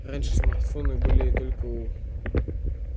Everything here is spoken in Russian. раньше смартфоны были только у